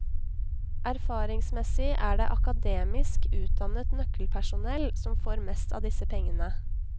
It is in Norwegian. Erfaringsmessig er det akademisk utdannet nøkkelpersonell som får mest av disse pengene.